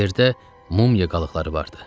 Yerdə mumya qalıqları vardı.